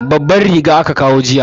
Babban riga aka kawo jiya.